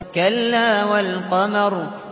كَلَّا وَالْقَمَرِ